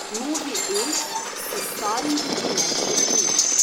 Novi E si s starim deli le še ime.